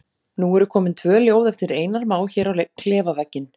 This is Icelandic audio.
Nú eru komin tvö ljóð eftir Einar Má hér á klefavegginn.